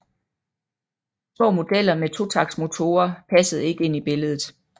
Små modeller med totaktsmotorer passede ikke ind i billedet